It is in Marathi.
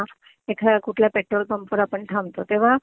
एखाद्या कुठल्या पेट्रोल पंपवर आपण थांबतो तेव्हा